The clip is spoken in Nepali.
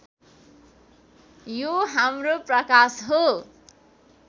यो हाम्रो प्रकाश हो